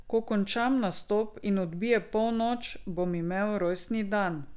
Ko končam nastop in odbije polnoč, bom imel rojstni dan.